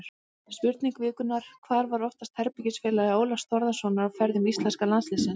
Spurning vikunnar: Hver var oftast herbergisfélagi Ólafs Þórðarsonar á ferðum íslenska landsliðsins?